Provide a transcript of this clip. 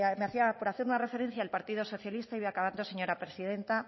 me hacía por hacer una referencia al partido socialista y voy acabando señora presidenta